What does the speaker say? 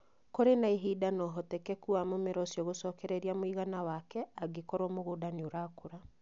Kũrĩ na ihinda na ũhotekeku wa mũmera ũcio gũcokereria mũigana wake angĩkorũo mũgũnda nĩ ũrakũra.